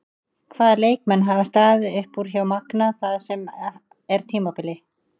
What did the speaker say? Hvaða leikmenn hafa staðið upp úr hjá Magna það sem af er tímabili?